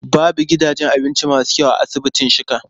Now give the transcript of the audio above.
Babu gidajen abinci masu kyau a asibitin Shika.